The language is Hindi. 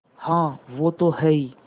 हाँ वो तो हैं ही